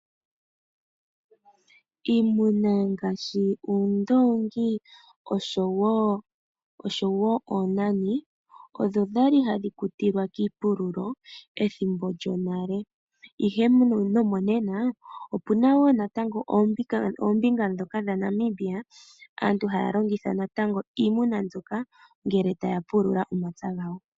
Iimuna ngaashi oondoongi osho woo oonani odho dhali hadhi kutilwa kiipululo ethimbo djonale, ihe nomo nena opuna woo oombinga ndhoka dha Namibia aantu haya longitha natango iimuna mbyoka ngele taya pulula omapya gawo.